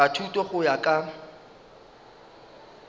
a thuto go ya ka